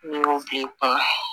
N'i y'o b'i kun na